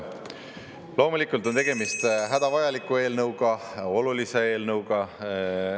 Loomulikult on tegemist hädavajaliku, eelnõuga olulise eelnõuga.